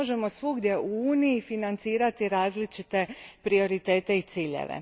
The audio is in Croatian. Ne možemo svugdje u Uniji financirati različite prioritete i ciljeve.